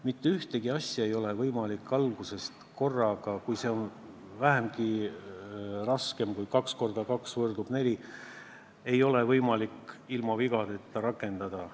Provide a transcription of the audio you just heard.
Mitte ühtegi asja ei ole võimalik alguses, kui see on vähegi raskem kui kaks korda kaks võrdub neli, ilma vigadeta rakendada.